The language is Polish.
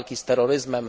walki z terroryzmem.